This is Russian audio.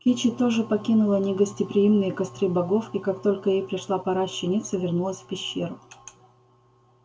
кичи тоже покинула негостеприимные костры богов и как только ей пришла пора щениться вернулась в пещеру